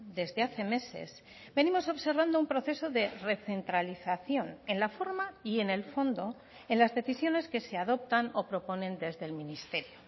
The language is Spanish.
desde hace meses venimos observando un proceso de recentralización en la forma y en el fondo en las decisiones que se adoptan o proponen desde el ministerio